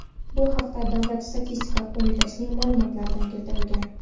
Bu haqda Davlat statistika qo‘mitasining ma’lumotlarida keltirilgan .